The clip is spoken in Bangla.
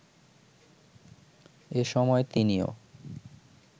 এসময় তিনিও